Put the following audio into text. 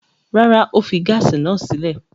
Rárá, ó fi gáásì náà sílé.